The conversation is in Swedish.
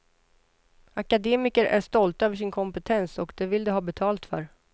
Akademiker är stolta över sin kompetens och det vill de ha betalt för.